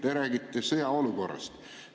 Te räägite sõjaolukorrast.